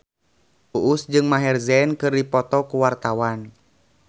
Uus jeung Maher Zein keur dipoto ku wartawan